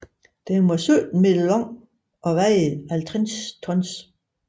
Den var 17 meter lang og vejede 50 tons